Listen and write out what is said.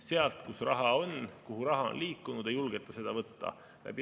Sealt, kus raha on, kuhu raha on liikunud, ei julgeta seda võtta.